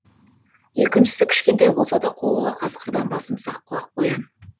екіншісі кішкентай болса да қулығы қасқырдан басым сақ құлақ қоян